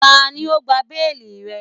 Tani o gba beeli rẹ?